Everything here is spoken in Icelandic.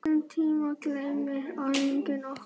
Þessum tíma gleymir enginn okkar.